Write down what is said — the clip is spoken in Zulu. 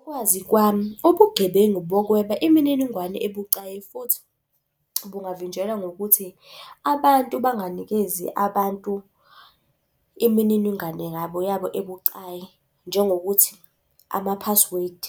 Ngokwazi kwami, ubugebengu bokweba imininingwane ebucayi futhi bungavinjelwa ngokuthi abantu banganikezi abantu imininingwane ngabo yabo ebucayi, njengokuthi ama-password.